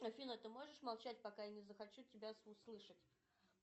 афина ты можешь молчать пока я не захочу тебя услышать